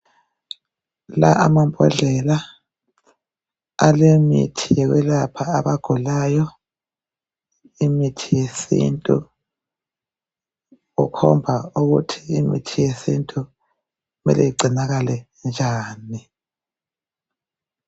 La amambondlela alemithi yokwelapha abagulayo imithi yesintu. Kukhomba ukuthi imithi yesintu mele igcinakale njani.